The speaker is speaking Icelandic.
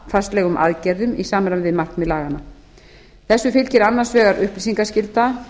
stýringu á vatnafarslegum aðgerðum í samræmi við markmið laganna þessu fylgir annars vegar upplýsingaskylda